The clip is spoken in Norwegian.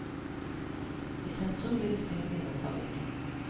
I sentrum blir vi stengt inne av trafikken.